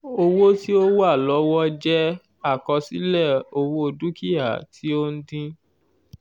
owó ti o wa lọwọ jẹ àkọsílẹ owó dukia ti o ń dín